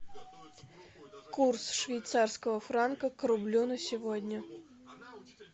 курс швейцарского франка к рублю на сегодня